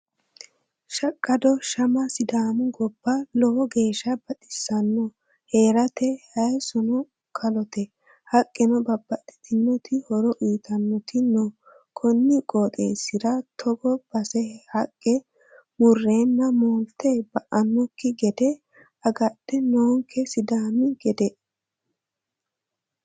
Shaqqado shama sidaami goba lowo geeshsha baxisano heerate hayisono kalote haqqeno babbaxxitino horo uyittanoti no koni qooxxeesira togo base haqqe murrenna moolte ba"anokki gede agadha noonke sidaami gede.